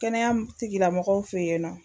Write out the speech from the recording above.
Kɛnɛya tigilamɔgɔw fɛ yen nɔ